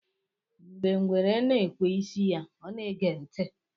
Mgbe ngwere na-ekwe isi ya, ọ na-ege ntị